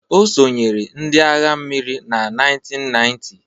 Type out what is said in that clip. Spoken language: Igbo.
Ọ sonyeere ndị agha mmiri na 1990